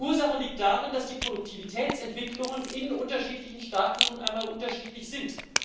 Die Ursache liegt darin, dass die Produktivitätsentwicklungen in unterschiedlichen Staaten nun einmal unterschiedlich sind.